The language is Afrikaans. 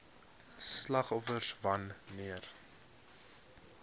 slagoffers wan neer